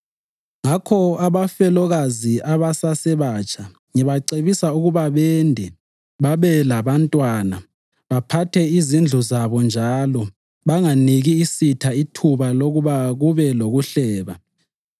Ngakho, abafelokazi abasesebatsha ngibacebisa ukuba bende, babelabantwana, baphathe izindlu zabo njalo banganiki isitha ithuba lokuba kube lokuhleba.